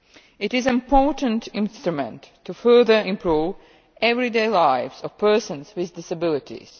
It is an important instrument to further improve the everyday lives of persons with disabilities.